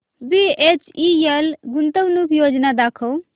BHEL गुंतवणूक योजना दाखव